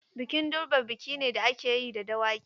Bikin durbar biki ne da ake yi da Dawaki.